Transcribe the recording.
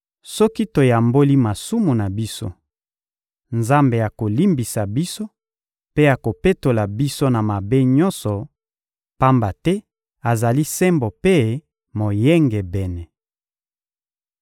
Soki toyamboli masumu na biso, Nzambe akolimbisa biso mpe akopetola biso na mabe nyonso, pamba te azali Sembo mpe Moyengebene.